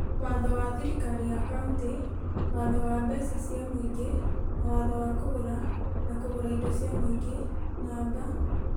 Watho wa thirikari ya kauntĩ , Watho wa Mbeca cia Mũingĩ na Watho wa Kũgũra na Kũgũra Indo cia Mũingĩ namba,